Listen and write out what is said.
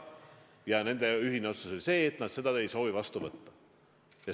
Ja ühine otsus oli selline, et seda raha ei soovita vastu võtta.